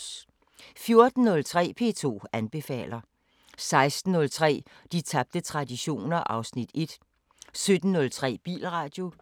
14:03: P2 anbefaler 16:03: De tabte traditioner (Afs. 1) 17:03: Bilradio